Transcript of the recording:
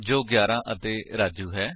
ਜੋ 11 ਅਤੇ ਰਾਜੂ ਹੈ